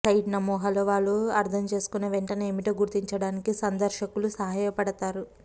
site నమూనాలో వారు అర్థం చేసుకున్న వెంటనే ఏమిటో గుర్తించడానికి సందర్శకులు సహాయపడతారు